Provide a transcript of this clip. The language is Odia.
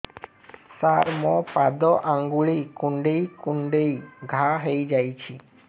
ସାର ମୋ ପାଦ ଆଙ୍ଗୁଳି କୁଣ୍ଡେଇ କୁଣ୍ଡେଇ ଘା ହେଇଯାଇଛି